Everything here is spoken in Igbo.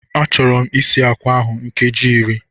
Achọrọ m isi akwa ahụ nkeji iri